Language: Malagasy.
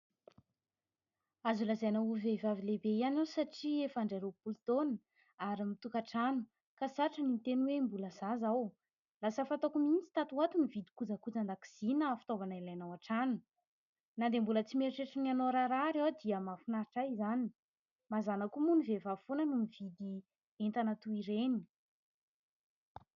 Azo lazaina ho vehivavy lehibe ihany aho satria efa handray roapolo taona ary mitokan-trano ka satry ny miteny hoe mbola zaza aho ; lasa fataoko mihitsy tato ho ato mividy kojakojan-dakozia na fitaovana ilaina ao an-trano ; na dia mbola tsy mieritreritra ny hanao raharaha ary aho dia mahafinaritra ahy izany ; mazàna koa moa ny vehivavy foana noho mividy entana toy ireny.